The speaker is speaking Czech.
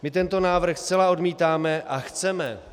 My tento návrh zcela odmítáme a chceme -